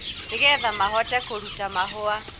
nĩgetha mahote kũruta mahũa.